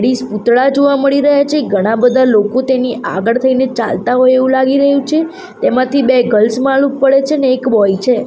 પૂતળા જોવા મળી રહ્યા છે ઘણા બધા લોકો તેની આગળ થઈને ચાલતા હોય એવું લાગી રહ્યું છે તેમાંથી બે ગર્લ્સ માલુમ પડે છે અને એક બોય છે.